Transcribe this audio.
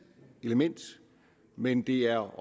element men det er